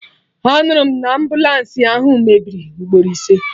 Anụrụ m na ambụlansi ahụ mebiri ugboro ise